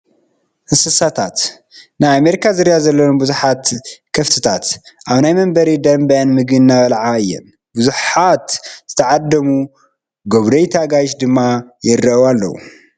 እንስሳታት፡- ናይ ኣሜሪካ ዝርያ ዘለዎን ብዙሓት ኣኻፍት ኣብ ናይ መንበሪ ደንበአን ምግቢ እናበልዓ እየን፡፡ ብዙሓት ዝተዓደሙ ጎብነይቲ ኣጋይሽ ድማ ይርእዎን ኣለው፡፡